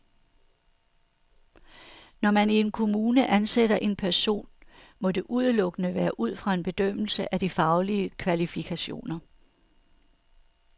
Når man i en kommune ansætter en person, må det udelukkende være ud fra en bedømmelse af de faglige kvalifikationer.